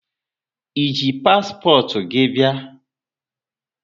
E ji paspọtụ gị bia?